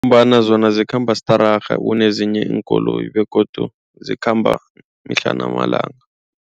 Ngombana zona zikhamba stararha kunezinye iinkoloyi begodu zikhamba mihla namalanga.